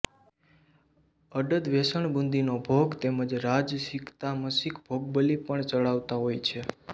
અડદ વેસણબુંદીનો ભોગ તેમજ રાજસિકતામસિક ભોગબલિ પણ ચઢાવતા હોય છે